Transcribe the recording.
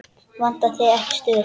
Vantar þig ekki stuð?